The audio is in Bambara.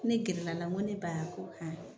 Ne gɛrɛla la n ko ne ba a ko han.